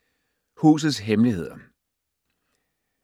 Husets hemmeligheder